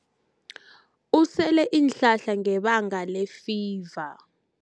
Usele iinhlahla ngebanga lefiva.